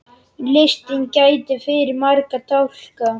Listinn gæti fyllt marga dálka.